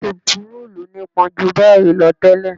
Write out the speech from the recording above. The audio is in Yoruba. Tepurúùlù nípọn jù báyìí lọ tẹ́lẹ̀